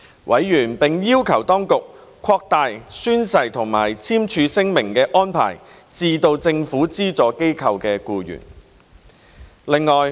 委員並要求當局擴大宣誓或簽署聲明的安排至政府資助機構僱員。